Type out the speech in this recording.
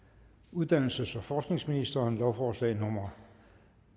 uddannelses og forskningsministeren lovforslag nummer